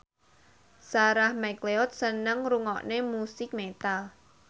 Sarah McLeod seneng ngrungokne musik metal